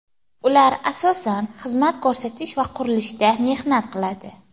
Ular asosan xizmat ko‘rsatish va qurilishda mehnat qiladi.